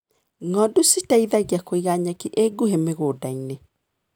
Ng'ondu citeithagia kũiga nyeki ĩ nguhĩ mĩgũndainĩ.